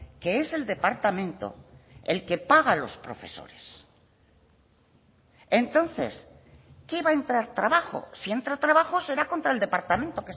que es el departamento el que paga a los profesores entonces qué va a entrar trabajo si entra trabajo será contra el departamento